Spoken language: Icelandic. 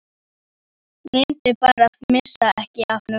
Reyndu bara að missa ekki af honum.